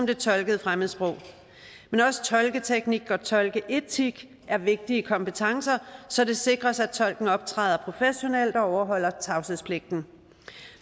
det tolkede fremmedsprog men også tolketeknik og tolkeetik er vigtige kompetencer så det sikres at tolken optræder professionelt og overholder tavshedspligten